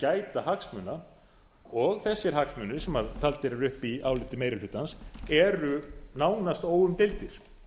gæta hagsmuna og þessir hagsmunir sem taldir eru upp í áliti meiri hlutans eru nánast óumdeildir